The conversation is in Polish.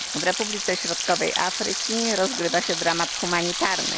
W Republice Środkowej Afryki rozgrywa się dramat humanitarny.